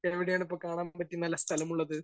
Speaker 1 എവിടെയാണ് ഇപ്പോ കാണാൻ പറ്റിയ നല്ല സ്ഥലം ഉള്ളത്?